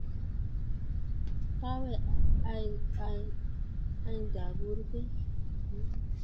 Kawe ain't agur beek